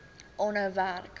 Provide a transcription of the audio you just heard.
aanhou werk